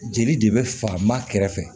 Jeli de bɛ fa maa kɛrɛfɛ